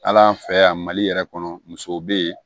Hal'an fɛ yan mali yɛrɛ kɔnɔ musow be yen